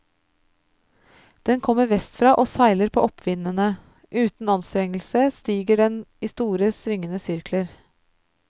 Den kommer vestfra og seiler på oppvindene, uten anstrengelse stiger den i store, svingende sirkler.